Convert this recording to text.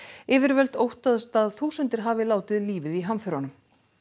yfirvöld óttast að þúsundir hafi látið lífið í hamförunum